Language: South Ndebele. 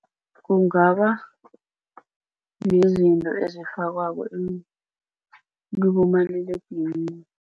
Kungaba nezinto ezifakwako kibomaliledinini.